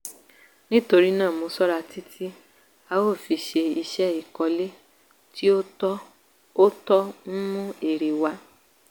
nítorí náà mo ṣọ́ra títí a ó fi ṣe iṣẹ́ ìkọ́lé tí ó tọ́ ó tọ́ ń mú èrè wá